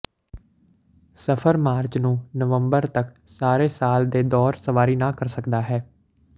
ਸਫਰ ਮਾਰਚ ਨੂੰ ਨਵੰਬਰ ਤੱਕ ਸਾਰੇ ਸਾਲ ਦੇ ਦੌਰ ਸਵਾਰੀ ਨਾ ਕਰ ਸਕਦਾ ਹੈ